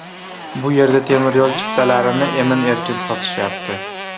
Bu yerda temiryo‘l chiptalarini emin-erkin sotishyapti.